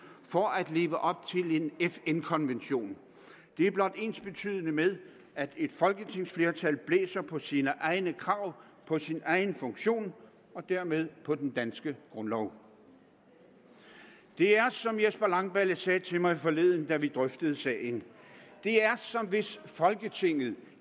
for at leve op til en fn konvention er blot ensbetydende med at et folketingsflertal blæser på sine egne krav på sin egen funktion og dermed på den danske grundlov det er som herre jesper langballe sagde til mig forleden da vi drøftede sagen som hvis folketinget